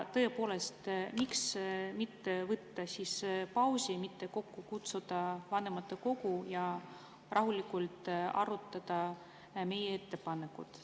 Tõepoolest, miks mitte võtta pausi, kutsuda kokku vanematekogu ja rahulikult arutada meie ettepanekut.